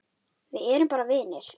Við erum bara vinir.